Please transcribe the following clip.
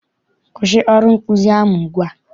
Kwụsị ọrụ nkụzi ahụ ugbua!